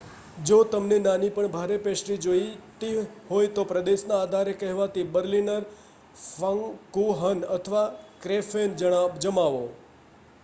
જો તમને નાની પણ ભારે પેસ્ટ્રી જોઈતી હોય તો પ્રદેશના આધારે કહેવાતી બર્લિનર ફાંકુહન અથવા ક્રૅફેન જમાવો